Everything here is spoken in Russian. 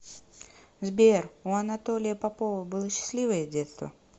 сбер у анатолия попова было счастливое детство